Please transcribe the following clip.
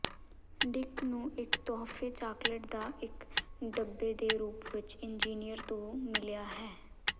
Dick ਨੂੰ ਇੱਕ ਤੋਹਫ਼ੇ ਚਾਕਲੇਟ ਦਾ ਇੱਕ ਡੱਬੇ ਦੇ ਰੂਪ ਵਿੱਚ ਇੰਜੀਨੀਅਰ ਤੋਂ ਮਿਲਿਆ ਹੈ